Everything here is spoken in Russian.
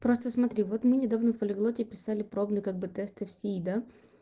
просто смотри вот мы недавно в полиглоте писали пробный как бы тесты в сии да